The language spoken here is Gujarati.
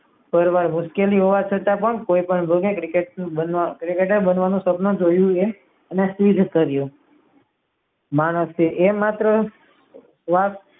પારાવાર મુશ્કેલી હોવા છતાં પણ કોય પણ ભોગે cricketer બનવા નું સ્વપ્ન જોયું એ સિદ્ધ કર્યું માણસે એ માત્ર વાત